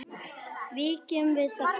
Víkjum að þakinu.